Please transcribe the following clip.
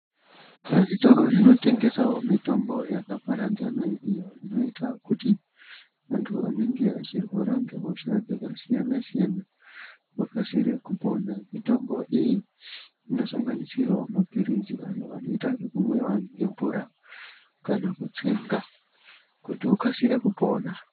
Zvitoro zvinotengesawo mitombo yakaparadzana iyo inoita kuti antu anenge achirwara ngehosha dzakasiyana siyana vakasire kupona, mitombo iyi imosanganisirawo mapirizi awo anoita zvekumwiwa nemvura kana kutsenga kuti ukasire kupona.